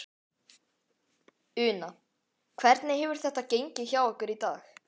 Una: Hvernig hefur þetta gengið hjá ykkur í dag?